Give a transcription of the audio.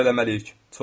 Şükür eləməliyik.